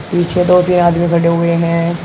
पीछे दो तीन आदमी खड़े हुए है।